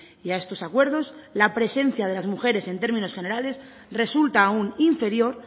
y a estos acuerdos la presencia de las mujeres en términos generales resulta aún inferior